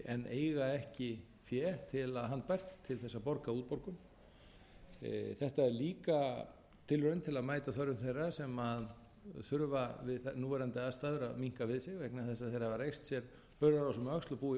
en eiga ekki fé handbært til að borga útborgun þetta er líka tilraun til að mæta þörfum þeirra sem þurfa við núverandi aðstæður að minnka við sig vegna þess að þeir hafa reist sér hurðarás um öxl